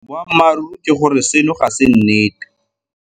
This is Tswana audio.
Boammaruri ke gore seno ga se nnete.